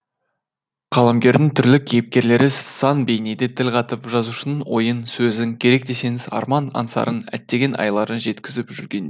қаламгердің түрлі кейіпкерлері сан бейнеде тіл қатып жазушының ойын сөзін керек десеңіз арман аңсарын әттеген айларын жеткізіп жүрген